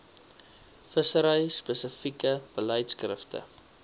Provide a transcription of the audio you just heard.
vissery spesifieke beleidskrifte